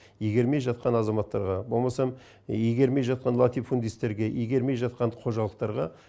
игермей жатқан азаматтарға болмаса игермей жатқан латифунистерге игермей жатқан қожалықтарға